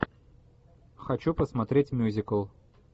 хочу посмотреть мюзикл